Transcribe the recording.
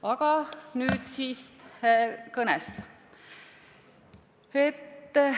Aga nüüd siis kõne juurde.